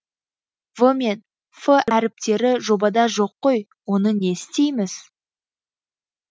в мен ф әріптері жобада жоқ қой оны не істейміз